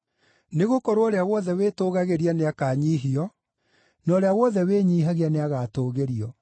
Nĩgũkorwo ũrĩa wothe wĩtũgagĩria nĩakanyiihio, na ũrĩa wothe wĩnyiihagia nĩagatũũgĩrio.